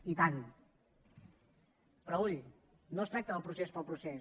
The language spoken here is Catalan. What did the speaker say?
i tant però ull no es tracta del procés per al procés